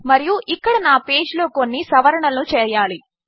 మరియుఇక్కడనాపేజ్లోకొన్నిసవరణలుచేయాలి